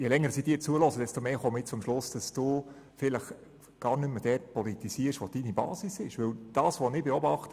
Je länger ich Ihnen zuhöre, desto mehr komme ich zum Schluss, dass Sie vielleicht gar nicht mehr dort politisieren, wo sich Ihre Basis befindet.